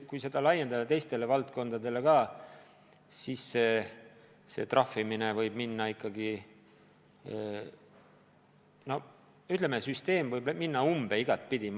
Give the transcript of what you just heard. Kui seda laiendada teistele valdkondadele ka, siis säärane trahvimine võib viia tupikusse, ütleme, süsteem võib minna iga pidi umbe.